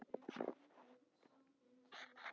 Sólný, hvað er í matinn á föstudaginn?